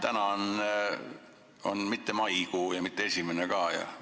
Täna ei ole enam maikuu ega ka mitte esimene kuupäev.